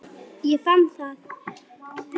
Ég fann það!